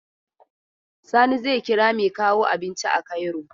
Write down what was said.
Sani zai kira mai kawo abinci a Cairo.